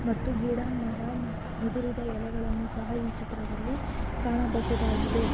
ಮತ್ತು ಗಿಡ ಮರ ಉದುರಿದ ಎಳೆಗಳನ್ನು ಸಹಾ ಈ ಚಿತ್ರದಲ್ಲಿ ಕಾಣಬಹುದಾಗಿದೆ.